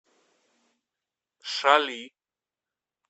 шали